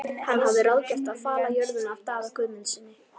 Hann hafði lengi ráðgert að fala jörðina af Daða Guðmundssyni.